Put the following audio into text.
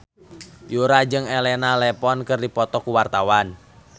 Yura jeung Elena Levon keur dipoto ku wartawan